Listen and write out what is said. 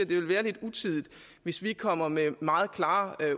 ville være lidt utidigt hvis vi kom med meget klare